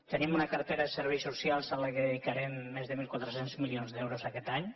tenim una cartera de serveis socials a la qual dedicarem més de mil quatre cents milions d’euros aquest any